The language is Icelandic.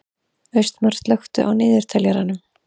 Austmar, slökktu á niðurteljaranum.